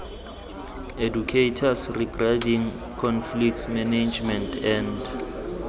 educators regarding conflict management and